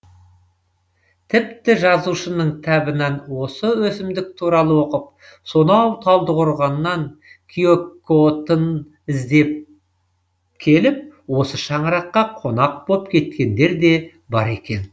тіпті жазушының кітабынан осы өсімдік туралы оқып сонау талдықорғаннан киікотын іздеп келіп осы шаңыраққа қонақ боп кеткендер де бар екен